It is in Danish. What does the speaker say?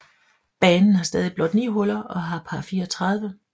Banen har stadig blot ni huller og har par 34